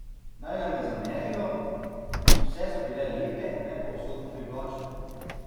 Naj nam ne zamerijo, vse so bile lepe, ne pa usodno privlačne.